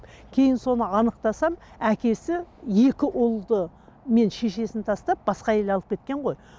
кейін соны анықтасам әкесі екі ұлды мен шешесін тастап басқа әйел алып кеткен ғой